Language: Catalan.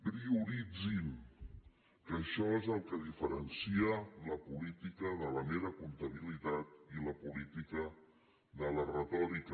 prioritzin que això és el que diferencia la política de la mera comptabilitat i la política de la retòrica